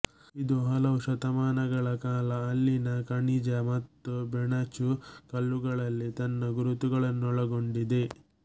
ಇದು ಹಲವು ಶತಮಾನಗಳ ಕಾಲ ಅಲ್ಲಿನ ಖನಿಜ ಮತ್ತು ಬೆಣಚು ಕಲ್ಲುಗಳಲ್ಲಿ ತನ್ನ ಗುರುತುಗಳನ್ನೊಳಗೊಂಡಿದೆ